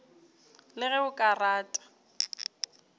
le ge o ka rata